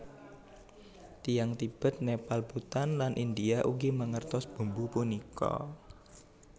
Tiyang Tibet Nepal Bhutan lan India ugi mangertos bumbu punika